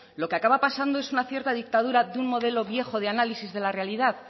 lo que acaba pasando es una cierta dictadura de un modelo viejo de análisis de la realidad